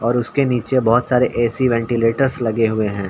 और उसके नीचे बहोत सारे ए.सी. वेंटिलेटर्स लगे हुए हैं।